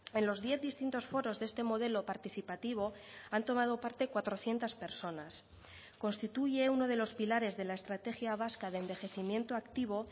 en los diez distintos foros de este modelo participativo han tomado parte cuatrocientos personas constituye uno de los pilares de la estrategia vasca de envejecimiento activo